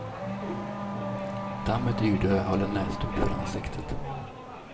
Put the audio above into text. Dammet yrde och jag höll en näsduk för ansiktet.